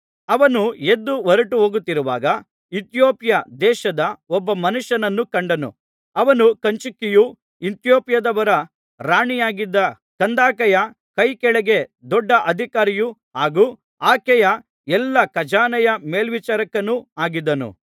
ಅವನು ಎದ್ದು ಹೊರಟು ಹೋಗುತ್ತಿರುವಾಗ ಇಥಿಯೋಪ್ಯ ದೇಶದ ಒಬ್ಬ ಮನುಷ್ಯನನ್ನು ಕಂಡನು ಅವನು ಕಂಚುಕಿಯೂ ಇಥಿಯೋಪ್ಯದವರ ರಾಣಿಯಾಗಿದ್ದ ಕಂದಾಕೆಯ ಕೈಕೆಳಗೆ ದೊಡ್ಡ ಅಧಿಕಾರಿಯೂ ಹಾಗೂ ಆಕೆಯ ಎಲ್ಲಾ ಖಜಾನೆಯ ಮೇಲ್ವಿಚಾರಕನೂ ಆಗಿದ್ದನು